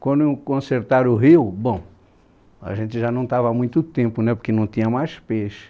Quando consertaram o rio, bom, a gente já não estava há muito tempo né, porque não tinha mais peixe.